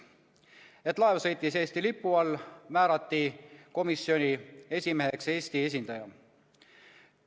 Kuna laev sõitis Eesti lipu all, määrati komisjoni esimeheks Eesti esindaja.